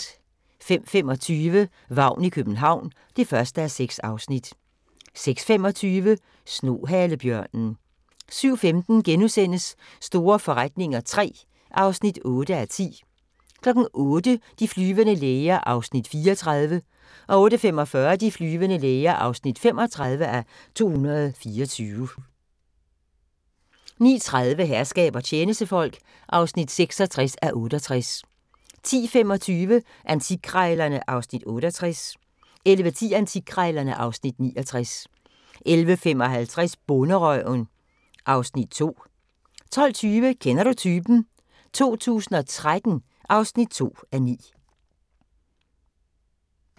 05:25: Vagn i København (1:6) 06:25: Snohalebjørnen 07:15: Store forretninger III (8:10)* 08:00: De flyvende læger (34:224) 08:45: De flyvende læger (35:224) 09:30: Herskab og tjenestefolk (66:68) 10:25: Antikkrejlerne (Afs. 68) 11:10: Antikkrejlerne (Afs. 69) 11:55: Bonderøven (Afs. 2) 12:20: Kender du typen? 2013 (2:9)